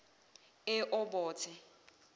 eobothe